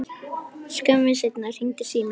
Skömmu seinna hringdi síminn.